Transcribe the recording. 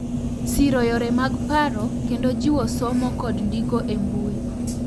Siro yore mag paro kendo jiwo somo kod ndiko e mbui.